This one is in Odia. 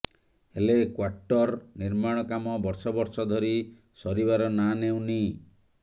ହେଲେ କ୍ବାର୍ଟର ନିର୍ମାଣ କାମ ବର୍ଷ ବର୍ଷ ଧରି ସରିବାର ନାଁ ନେଉନି